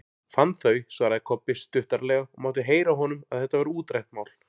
Fann þau, svaraði Kobbi stuttaralega og mátti heyra á honum að þetta væri útrætt mál.